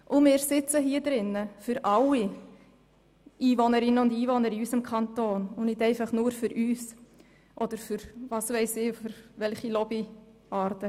Wir sitzen in diesem Saal für alle Einwohnerinnen und Einwohner in unserem Kanton und nicht einfach nur für uns selber oder für irgendwelche Lobbyarten.